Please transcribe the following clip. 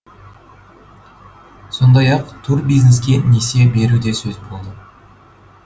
сондай ақ турбизнеске несие беру де сөз болды